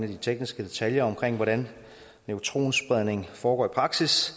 i de tekniske detaljer om hvordan neutronspredning foregår i praksis